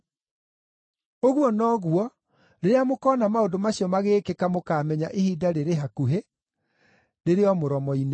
Ũguo noguo, rĩrĩa mũkoona maũndũ macio magĩĩkĩka mũkaamenya ihinda rĩrĩ hakuhĩ, rĩrĩ o mũromo-inĩ.